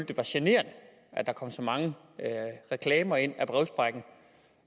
det var generende at der kom så mange reklamer ind